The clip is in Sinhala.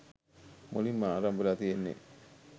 මුලින්ම ආරම්භ වෙලා තියෙන්නෙ